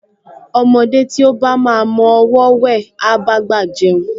Ọmọdé tí ó bá máa mọ ọwọọ́ wẹ̀, á bá àgbà jẹun